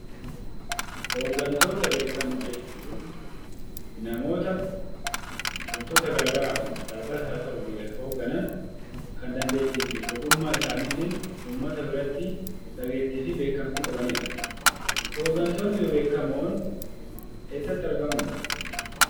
Hoggantoota beekamoo jechuun namoota wantoota garaa garaa dhaabbatas haa ta'u biyya hogganan, kan dandeettii fi ogummaa isaaniitiin uummata biratti dhageettii fi beekamtii qabanidha. Hoggantootni bebeekamoon eessatti argamu?